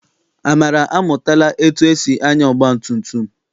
Amara amụtala etu esi anya ọgbatumtum.